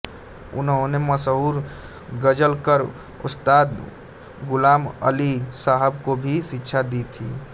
उन्होंने मशहूर ग़ज़लकर उस्ताद ग़ुलाम अली साहब को भी शिक्षा दी थी